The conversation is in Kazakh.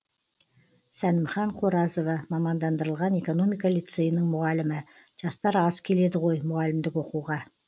сәнімхан қоразова мамандандырылған экономика лицейінің мұғалімі жастар аз келеді ғой мұғалімдік оқуға